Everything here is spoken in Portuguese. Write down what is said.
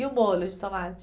E o molho de tomate?